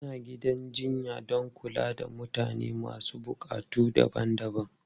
Ana gidan jinya don kula da mutane masu buƙatu daban-daban.